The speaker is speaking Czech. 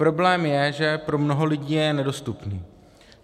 Problém je, že pro mnoho lidí je nedostupný.